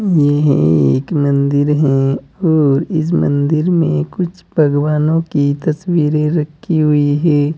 यह एक मंदिर है और इस मंदिर में कुछ भगवानों की तस्वीरें रखी हुई हैं।